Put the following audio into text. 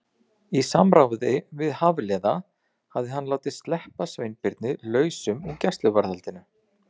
Í samráði við Hafliða hafði hann látið sleppa Sveinbirni lausum úr gæsluvarðhaldinu.